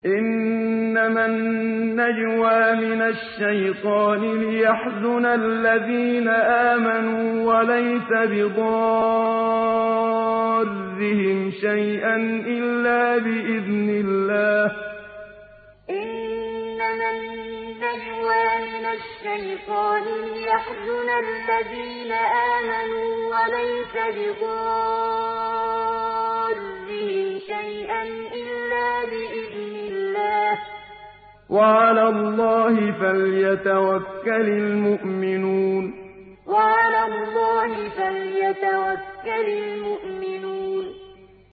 إِنَّمَا النَّجْوَىٰ مِنَ الشَّيْطَانِ لِيَحْزُنَ الَّذِينَ آمَنُوا وَلَيْسَ بِضَارِّهِمْ شَيْئًا إِلَّا بِإِذْنِ اللَّهِ ۚ وَعَلَى اللَّهِ فَلْيَتَوَكَّلِ الْمُؤْمِنُونَ إِنَّمَا النَّجْوَىٰ مِنَ الشَّيْطَانِ لِيَحْزُنَ الَّذِينَ آمَنُوا وَلَيْسَ بِضَارِّهِمْ شَيْئًا إِلَّا بِإِذْنِ اللَّهِ ۚ وَعَلَى اللَّهِ فَلْيَتَوَكَّلِ الْمُؤْمِنُونَ